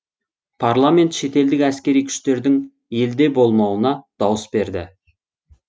парламент шетелдік әскери күштердің елде болмауына дауыс берді